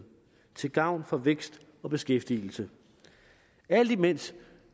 til gavn for vækst og beskæftigelse alt imens